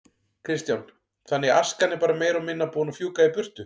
Kristján: Þannig askan er bara meira og minna búin að fjúka í burtu?